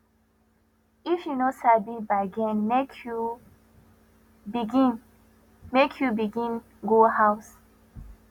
if you no sabi bargain make you begin make you begin go house